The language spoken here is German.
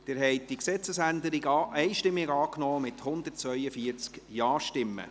Sie haben diese Gesetzesänderung einstimmig angenommen, mit 142 Ja-Stimmen.